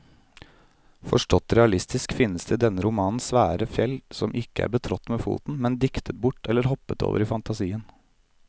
Forstått realistisk finnes det i denne romanen svære fjell som ikke er betrådt med foten, men diktet bort eller hoppet over i fantasien.